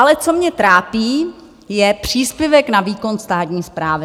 Ale co mě trápí, je příspěvek na výkon státní správy.